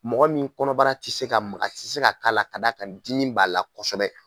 Mɔgɔ min kɔnɔbara ti se ka maga ti se ka k'a la ka d'a ka dimi b'a la kosɛbɛ